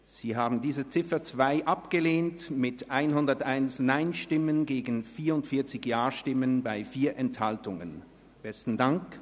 Sie haben diese Ziffer mit 101 Nein- gegen 44 Ja-Stimmen bei 4 Enthaltungen abgelehnt.